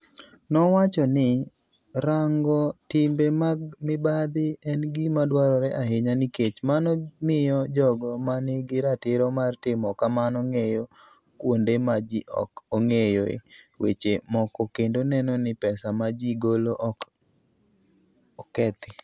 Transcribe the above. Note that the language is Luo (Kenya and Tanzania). Nowacho ni, "Rango timbe mag mibadhi en gima dwarore ahinya nikech mano miyo jogo ma nigi ratiro mar timo kamano ng'eyo kuonde ma ji ok ong'eyoe weche moko kendo neno ni pesa ma ji golo ok okethi".